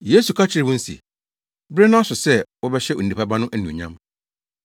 Yesu ka kyerɛɛ wɔn se, “Bere no aso sɛ wɔbɛhyɛ Onipa Ba no anuonyam.